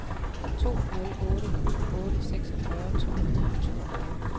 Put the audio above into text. to nul otte otte seksogfyrre to hundrede og toogfyrre